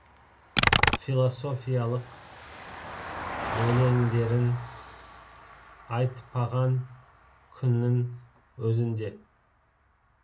философиялық өлеңдерін айтпаған күннің өзінде